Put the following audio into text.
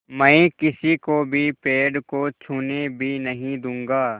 मैं किसी को भी पेड़ को छूने भी नहीं दूँगा